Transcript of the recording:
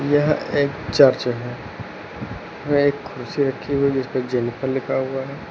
यह एक चर्च है वह एक कुर्सी रखी हुई है जिस पे जेनिफर लिखा हुआ है।